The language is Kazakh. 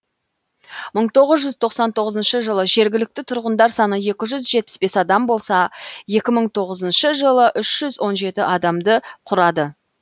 мың тоғыз жүз тоқссан тоғызыншы жылы жергілікті тұрғындар саны екі жүз жетпіс бес адам болса екі мың тоғызыншы жылы үш жүз он жеті адамды құрады